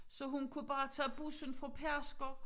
Så hun kunne bare tage bussen til Pedersker